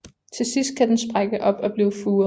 Til sidst kan den sprække op og blive furet